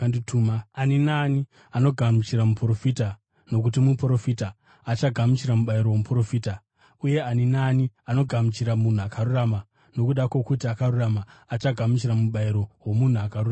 Ani naani anogamuchira muprofita nokuti muprofita achagamuchira mubayiro womuprofita, uye ani naani anogamuchira munhu akarurama nokuda kwokuti akarurama, achagamuchira mubayiro womunhu akarurama.